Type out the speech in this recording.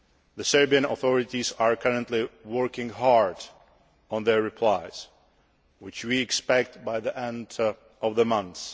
The Serbian authorities are currently working hard on their replies, which we expect by the end of the month.